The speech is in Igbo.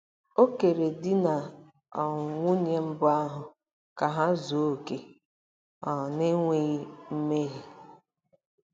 O kere di na um nwunye mbụ ahụ ka ha zuo okè, um n’enweghị mmehie.